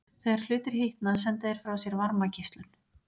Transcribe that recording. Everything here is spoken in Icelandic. Þegar hlutir hitna senda þeir frá sér varmageislun.